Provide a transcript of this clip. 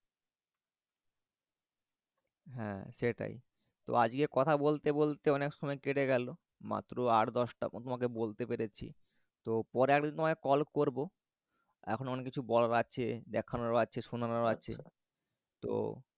হ্যাঁ সেটাই। তো আজকে কথা বলতে বলতে অনেক সময় কেটে গেলো। মাত্র আট দশটা জায়গা তোমাকে বলতে পেরেছি। তো পরে আমি তোমার call করব। এখনও অনেক কিছু বলার আছে। দেখানোরও আছে শোনানোরও আছে। তো